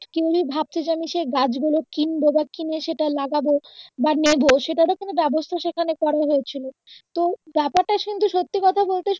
কেউ যদি ভাবছে যে আমি সে গাছগুলো কিনবো বা কিনে সেটা লাগাবো বা নেবো সেটারো পূর্ণ ব্যাবস্থা সেখানে করা হয়েছিলো তো ব্যাপারটা কিন্তু সত্যি কথা বলতে